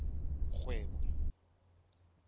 kgwebo